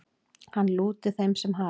Hann lúti þeim sem hafi